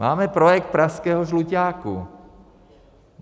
Máme projekt pražského Žluťáku.